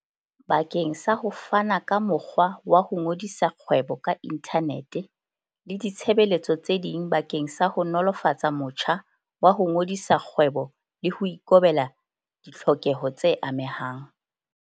Bakeng sa ho fana ka mokgwa wa ho ngodisa kgwebo ka inthanete le ditshebeletso tse ding bakeng sa ho nolofatsa motjha wa ho ngodisa kgwebo le ho ikobela ditlhokeho tse amehang.